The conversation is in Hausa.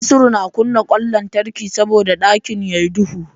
Nasiru na kunna ƙwan lantarki saboda ɗakin ya yi duhu.